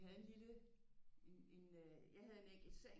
Havde en lille en en øh jeg havde en enkel seng